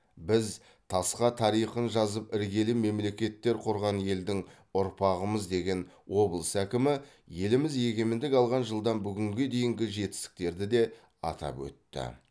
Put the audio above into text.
біз тасқа тарихын жазып іргелі мемлекеттер құрған елдің ұрпағымыз деген облыс әкімі еліміз егемендік алған жылдан бүгінге дейінгі жетістіктерді де атап өтті